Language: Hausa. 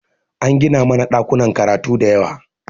An gina mana ɗakunan karatu da yawa